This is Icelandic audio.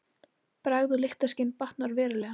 Bragð og lyktarskyn batnar verulega.